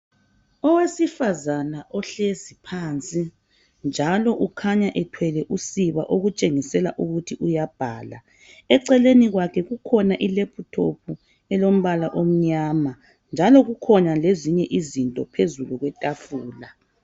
Owesifazane ohleziphansi , njalo ukhanya ethwele usiba okutshengisela ukuthi uyabhala , eceleni kwakhe kukhona I laptop elombala omnyama njalo kukhona lezinye izinto phezu kwetafula